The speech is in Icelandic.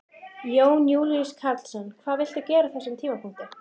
Jón Júlíus Karlsson: Hvað vilt þú gera á þessum tímapunkti?